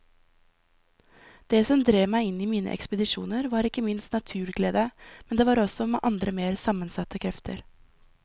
Det som drev meg i mine ekspedisjoner var ikke minst naturglede, men det var også andre mer sammensatte krefter.